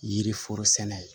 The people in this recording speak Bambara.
Yiriforo sɛnɛ ye